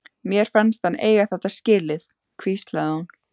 Mér fannst hann eiga þetta skilið- hvíslaði hún.